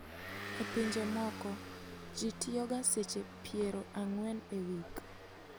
E pinje moko, ji tiyoga seche piero ang'wen e wik.